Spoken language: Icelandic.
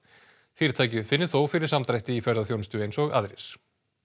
fyrirtækið finni þó fyrir samdrætti í ferðaþjónustu eins og aðrir